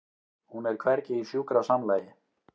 Hún er hvergi í sjúkrasamlagi.